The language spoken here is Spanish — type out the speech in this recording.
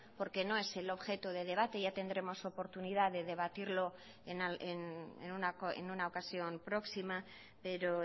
porque no es el objeto de debate ya tendremos oportunidad de debatirlo en una ocasión próxima pero